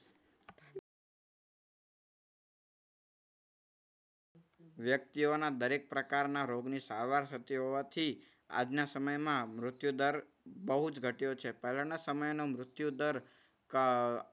વ્યક્તિઓના દરેક પ્રકારના રોગની સારવાર શક્ય હોવાથી આજના સમયમાં મૃત્યુદર બહુ જ ઘટ્યો છે. પહેલાના સમયનું મૃત્યુ દર અર